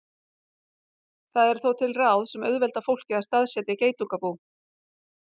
Það eru þó til ráð sem auðvelda fólki að staðsetja geitungabú.